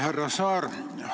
Härra Saar!